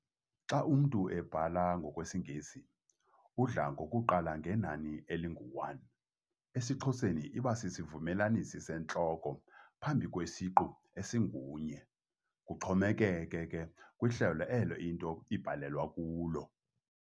Xa umntu ebhala ngokwesingesi udla ngokuqala ngenani elingu 'one'. esiXhoseni iba sisivumelanisi sentloko phambi kwesiqu esingu-'-nye', kuxhomekeke ke kwihlelo elo into ibhalelwa kulo.